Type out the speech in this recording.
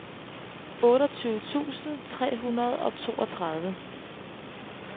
otteogtyve tusind tre hundrede og toogtredive